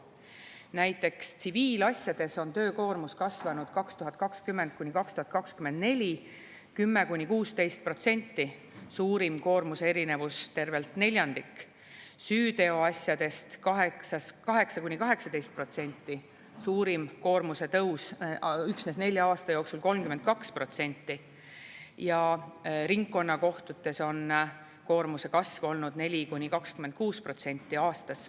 Näiteks tsiviilasjades on töökoormus aastatel 2020–2024 kasvanud 10–16%, suurim koormuse erinevus tervelt neljandik; süüteoasjades 8–18%, suurim koormuse tõus üksnes nelja aasta jooksul 32%; ja ringkonnakohtutes on koormuse kasv olnud 4–26% aastas.